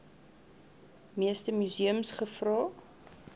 meeste museums gevra